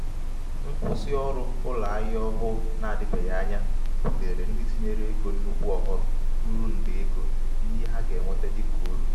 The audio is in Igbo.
nkwụsị ọrụ ụlọ ahịa ọhụụ na-adịbeghị anya butere ndị tinyere ego nnukwu oghom ruru nde ego n’ihe ha ga-enweta dịka uru.